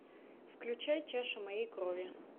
включай чаша моей крови